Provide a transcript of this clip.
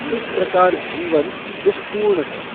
इस प्रकार जीवन दुःखपूर्ण है।